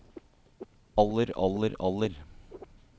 aller aller aller